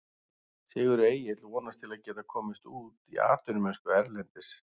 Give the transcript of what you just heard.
Sigurður Egill vonast til að geta komist út í atvinnumennsku erlendis.